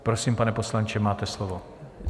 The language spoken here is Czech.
Prosím, pane poslanče, máte slovo.